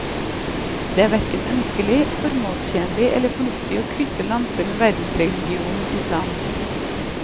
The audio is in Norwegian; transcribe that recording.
Det er hverken ønskelig, formålstjenlig eller fornuftig å krysse lanser med verdensreligionen islam.